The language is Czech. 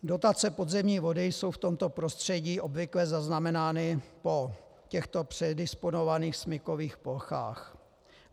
Dotace podzemní vody jsou v tomto prostředí obvykle zaznamenány po těchto předisponovaných smykových plochách.